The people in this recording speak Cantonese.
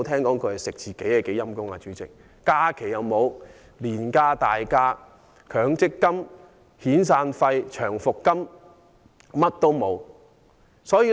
導遊及領隊不享有假期、年假、強積金、遣散費及長期服務金。